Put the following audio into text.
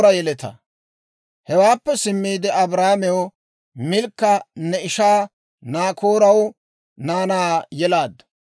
Hewaappe simmiide Abrahaamew, «Milkka ne ishaa Naakooraw naanaa yelaaddu;